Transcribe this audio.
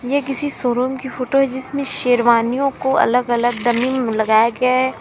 ये किसी शोरूम की फोटो है जिसमें शेरवानियों को अलग अलग डमी में लगाया गया है।